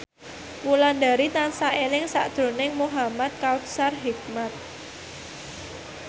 Wulandari tansah eling sakjroning Muhamad Kautsar Hikmat